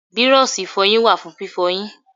Bírọ́ọ̀ṣì ìfọyín wà fún fífọyín.